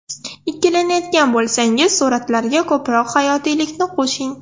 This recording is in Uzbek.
Ikkilanayotgan bo‘lsangiz suratlarga ko‘proq hayotiylikni qo‘shing.